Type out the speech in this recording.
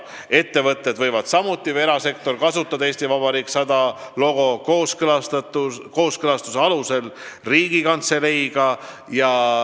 Ettevõtted, sh erasektori omad, võivad "Eesti Vabariik 100" logo kasutada pärast kooskõlastust Riigikantseleiga.